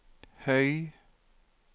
høy